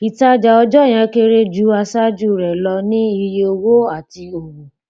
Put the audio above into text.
ìtajà ọjọ yẹn kéré ju àṣáájú rẹ lọ ní iye owó àti òwò